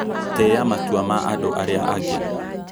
Tĩa matua ma andũ arĩa angĩ